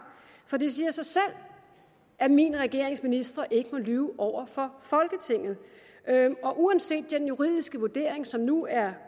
for det siger sig selv at min regerings ministre ikke må lyve over for folketinget og uanset den juridiske vurdering som nu er